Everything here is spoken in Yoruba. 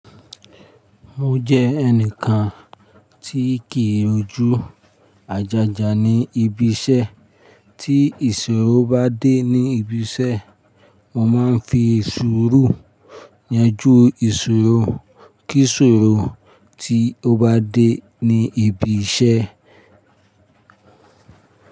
Mo jẹ́ ẹnìkan tí kìí rojú àjájá ní ibi iṣẹ́. Tí ìṣòro bá dé ní ibi iṣẹ́, mo máa ń fi ṣòro yanjú ìṣòro. Kí ìṣòro tí ó bá dé ní ibi iṣẹ́.